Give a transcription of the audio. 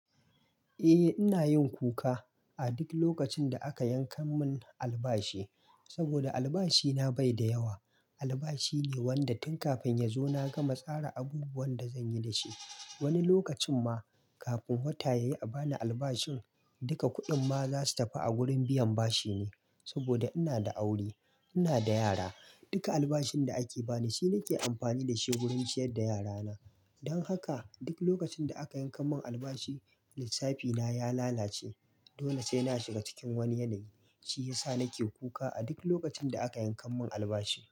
Eh, ina yin kuka a duk lokacin da aka yanka mun albashi saboda albashina bai da yawa. Albashi ne wanda tun kafin ya zo na gama tsara abubuwan da zan yi da shi. Wani lokacin ma kafin wata ya yi a bani albashin, duka kuɗin ma za su tafi a gurin biyan bashi ne saboda ina da aure, ina da yara. Duka albashin da ake bani shine nake amfani da shi wurin ciyar da yarana. Don haka duk lokacin da aka yanka mun albashi lissafina ya lalace. Dole sai na shiga cikin wani yanayi, shi yasa nake kuka a duk lokacin da aka yanka mun albashi.